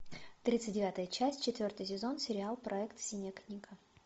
тридцать девятая часть четвертый сезон сериал проект синяя книга